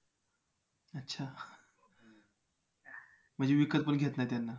अच्छा म्हणजे विकत पण घेत नाही त्यांना